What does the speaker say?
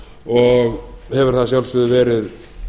og hefur það að sjálfsögðu verið